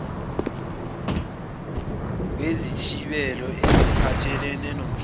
kwezithibelo eziphathelene nomhlaba